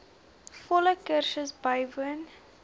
volle kursus bywoon